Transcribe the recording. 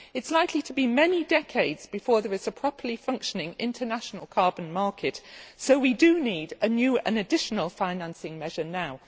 It is likely to be many decades before there is a properly functioning international carbon market, so we need a new and additional financing measure now.